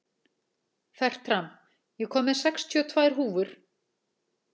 Fertram, ég kom með sextíu og tvær húfur!